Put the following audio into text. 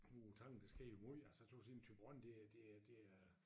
Ude på tangen der sker jo måj altså tøs inde i Thyborøn det er det er det er